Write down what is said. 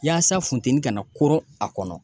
Yaasa funteni ka na koro a kɔnɔ